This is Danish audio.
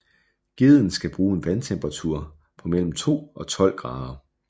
Gedden skal bruge en vandtemperatur på mellem 2 og 12 grader